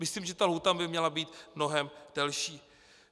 Myslím, že ta lhůta by měla být mnohem delší.